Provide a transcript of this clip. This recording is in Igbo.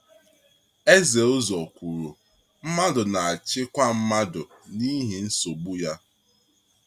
Eze Ụ́zọ́r kwuru: ‘Mmadụ na-achịkwa mmadụ n’ihi nsogbu ya.’